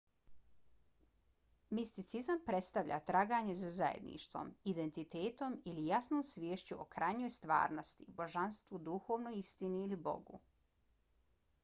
misticizam predstavlja traganje za zajedništvom identitetom ili jasnom sviješću o krajnjoj stvarnosti božanstvu duhovnoj istini ili bogu